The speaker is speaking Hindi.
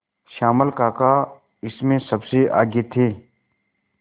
श्यामल काका इसमें सबसे आगे थे